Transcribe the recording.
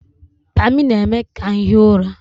Pammy na-eme ka m hie ụra